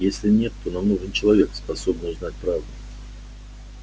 если нет то нам нужен человек способный узнать правду